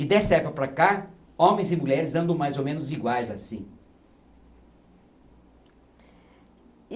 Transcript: E dessa época para cá, homens e mulheres andam mais ou menos iguais assim.